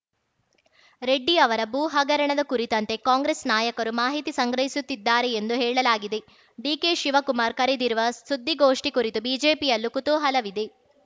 ರೆಡ್ಡಿ ಅವರ ಭೂ ಹಗರಣದ ಕುರಿತಂತೆ ಕಾಂಗ್ರೆಸ್‌ ನಾಯಕರು ಮಾಹಿತಿ ಸಂಗ್ರಹಿಸುತ್ತಿದ್ದಾರೆ ಎಂದು ಹೇಳಲಾಗಿದೆ ಡಿಕೆಶಿವಕುಮಾರ್‌ ಕರೆದಿರುವ ಸುದ್ದಿಗೋಷ್ಠಿ ಕುರಿತು ಬಿಜೆಪಿಯಲ್ಲೂ ಕುತೂಹಲವಿದೆ